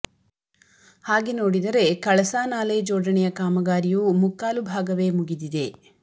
ಹಾಗೆ ನೋಡಿದರೆ ಕಳಸಾ ನಾಲೆ ಜೋಡಣೆಯ ಕಾಮಗಾರಿಯೂ ಮುಕ್ಕಾಲು ಭಾಗವೇ ಮುಗಿದಿದೆ